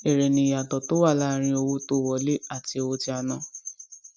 eré ni ìyàtọ tó wà láàárin owó tó wọlé àti owó tí a ná